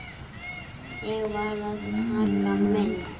Ég varð að taka mynd.